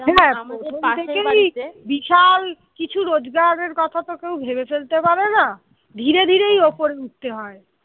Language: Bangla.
বিশাল কিছু রোজকারের কথা তো কেউ ভেবে ফেলতে পারে না ধীরে ধীরে উপরে উঠতে হয়।